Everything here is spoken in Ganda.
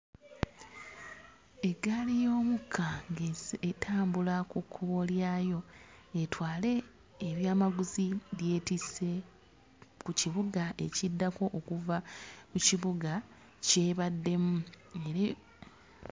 Eggaali y'omukka ng'ezze, etambula ku kkubo lyayo etwale ebyamaguzi by'etisse ku kibuga ekiddako okuva ku kibuga ky'ebaddemu nebye...